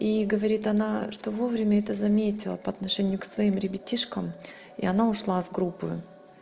и говорит она что вовремя это заметила по отношению к своим ребятишкам и она ушла из группы